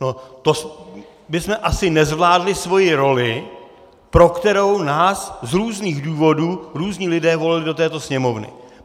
To bychom asi nezvládli svoji roli, pro kterou nás z různých důvodů různí lidé volili do této Sněmovny.